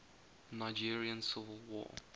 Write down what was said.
nigerian civil war